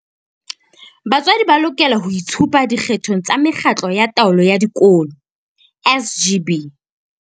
Batswadi ba lokela ho itshupa dikgethong tsa Mekgatlo ya Taolo ya Dikolo SGB.